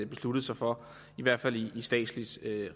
besluttet sig for i hvert fald i statsligt